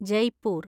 Jaipur